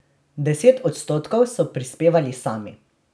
Deset odstotkov so prispevali sami.